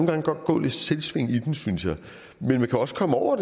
gange godt gå lidt selvsving i dem synes jeg men man kan også komme over